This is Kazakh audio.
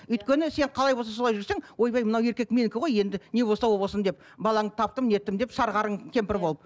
өйткені сен қалай болса солай жүрсең ойбай мынау еркек менікі ғой енді не болса о болсын деп балаңды таптым ертең деп сары қарын кемпір болып